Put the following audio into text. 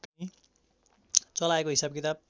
चलाएको हिसाब किताब